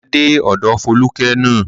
Máa dé ọ̀dọ̀ Fólúkẹ́ ná.